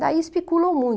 Daí especulam muito.